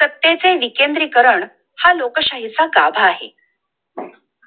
सत्ते चे विकेंद्रीकरण हा लोकशाही चा गाभा आहे!